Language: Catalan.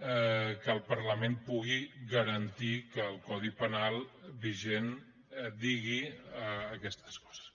que el parlament pugui garantir que el codi penal vigent digui aquestes coses